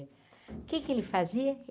O que que ele fazia?